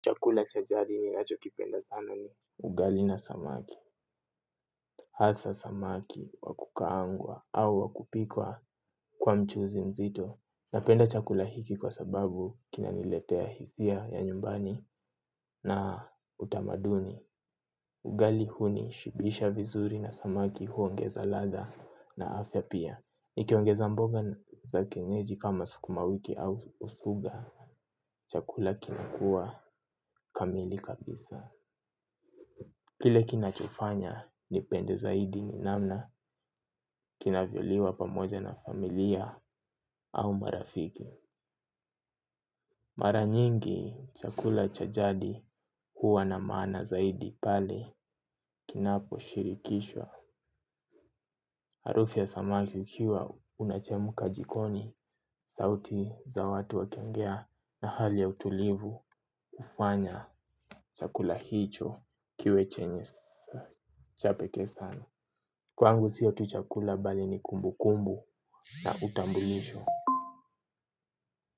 Chakula cha jadi ninachokipenda sana ni ugali na samaki. Hasa samaki wa kukaangwa au wa kupikwa kwa mchuzi mzito. Napenda chakula hiki kwa sababu kinaniletea hisia ya nyumbani na utamaduni. Ugali hunishibisha vizuri na samaki huoogeza ladha na afya pia. Nikiongeza mboga za kienyeji kama sukuma wiki au usuga. Chakula kinakua kamili kabisa. Kile kina chofanya nipende zaidi ni namna kinavyoliwa pamoja na familia au marafiki. Mara nyingi chakula cha jadi huwa na maana zaidi pale kinaposhirikishwa. Harufu ya samaki ukiwa unachemka jikoni sauti za watu wakiongea na hali ya utulivu hufanya chakula hicho kiwe chenye cha peke sana. Kwangu siyo tu chakula bali ni kumbukumbu na utambulisho.